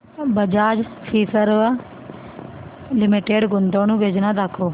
Bajaj Finserv limited गुंतवणूक योजना दाखव